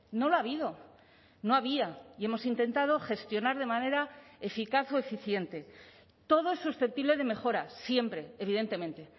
no lo ha habido no había y hemos intentado gestionar de manera eficaz o eficiente todo es susceptible de mejora siempre evidentemente